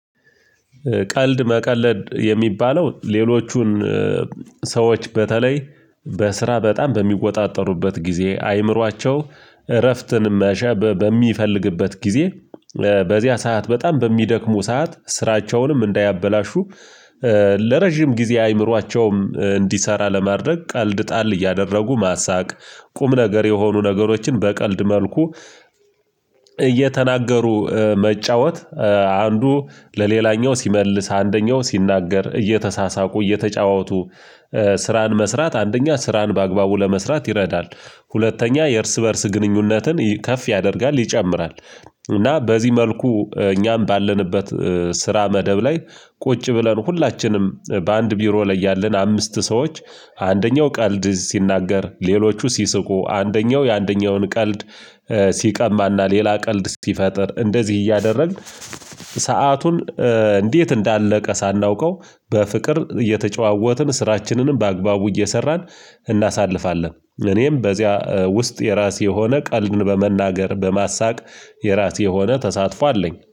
ቀልድ መቀለድ የሚባለው ሌሎቹን ሰዎች በተለይ በስራ በጣም በሚቆጣጠሩበት ጊዜ አይምሯቸው እረፍትን መሻት በሚፈልግበት ጊዜ። በዚያ ሰዓት በጣም በሚደክሙ ሰዓት ስራቸውንም እንዳያበላሹ ለረጅም ጊዜ አይምሯቸውም እንዲሰራ ለማድረግ ቀልድ ጣል እያደረጉ ማሳቅ። ቁም ነገር የሆኑ ነገሮችን በቀልድ መልኩ እየተናገሩ መጫወት አንዱ ለሌላኛው ሲመልስ አንደኛው ሲናገር እየተሳሳቁ እየተጫወቱ። ስራን መስራት አንደኛ ስራን በአግባቡ ለመስራት ይረዳል ሁለተኛ የእርስ በእርስ ግንኙነትን ከፍ ያደርጋል ይጨምራል። እና በዚህ መልኩ እኛም ባለንበት ስራ መደብ ላይ ቁጭ ብለን ሁላችንም በአንድ ቢሮ ላይ ያለን አምስት ሰዎች። አንደኛው ቀልድ ሲናገር ሌሎቹ ሲስቁ አንደኛው የአንደኛውን ቀልድ ሲቀማና ሌላ ቀልድ ሲፈጥር እንደዚህ እያደረግን። ሰአቱን እንዴት እንዳለቀ ሳናውቀው በፍቅር እየተጨዋወትን ስራችንንም በአግባቡ እየሰራን እናሳልፋለን። እኔም በዚያ ውስጥ የራሴ የሆነ ቀልድን በመናገር በማሳቅ የራሴ የሆነ ተሳትፎ አለኝ